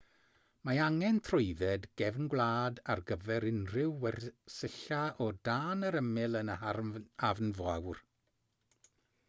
mae angen trwydded gefn gwlad ar gyfer unrhyw wersylla o dan yr ymyl yn yr hafn fawr